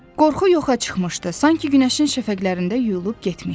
Qorxu yoxa çıxmışdı, sanki günəşin şəfəqlərində yuyulub getmişdi.